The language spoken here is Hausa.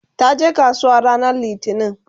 taje kasuwa ranar littani